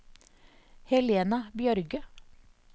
Helena Bjørge